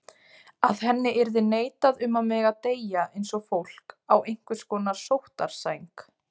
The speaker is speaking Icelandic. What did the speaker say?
Að henni yrði neitað um að mega deyja eins og fólk, á einhvers konar sóttarsæng.